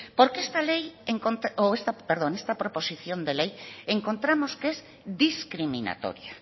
porque esta ley perdón esta proposición de ley encontramos que es discriminatoria